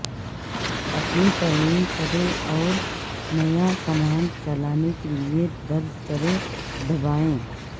اپنی ترمیم کریں اور نیا کمانڈ چلانے کیلئے درج کریں دبائیں